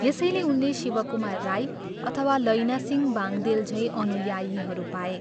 यसैले उनले शिवकुमार राई अथवा लैनसिंह बाङ्देल झैँ अनुयायीहरू पाए।